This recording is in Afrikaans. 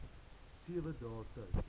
sewe dae tyd